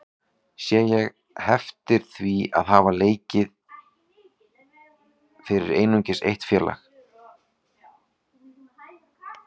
Sé ég heftir því að hafa leikið fyrir einungis eitt félag?